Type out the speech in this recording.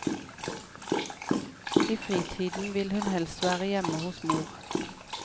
I fritiden vil hun helst være hjemme hos mor.